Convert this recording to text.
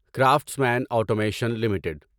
craftsman automation limited